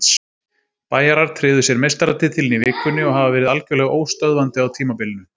Bæjarar tryggðu sér meistaratitilinn í vikunni og hafa verið algjörlega óstöðvandi á tímabilinu.